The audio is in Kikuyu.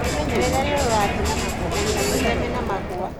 Wĩmenyerere rĩrĩa ũrathiĩ na magũrũ na wĩtheme na magũa.